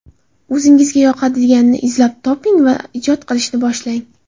O‘zingizga yoqadiganini izlab toping va ijod qilishni boshlang.